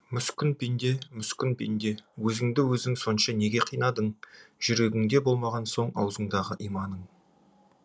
мүскін пенде мүскін пенде өзіңді өзің сонша неге қинадың жүрегіңде болмаған соң аузыңдағы иманың